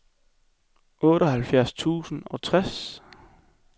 otteoghalvfjerds tusind og tres